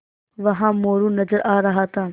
वहाँ मोरू नज़र आ रहा था